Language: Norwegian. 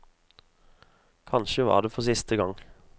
Kanskje var det for siste gang.